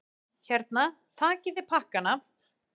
Hérna, takiði pakkana!